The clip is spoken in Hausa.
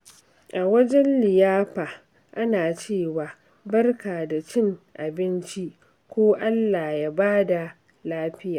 A wajen liyafa, ana cewa "Barka da cin abinci" ko "Allah ya ba da lafiya."